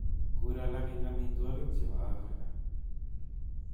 Kur alak eng amitwogik chebo Afrika